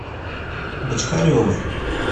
бочкаревой